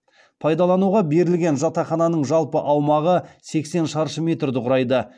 пайдалануға берілген жатақхананың жалпы аумағы сексен шары метрді құрайды